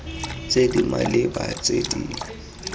tse di maleba tse di